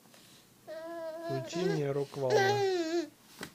включи мне рок волна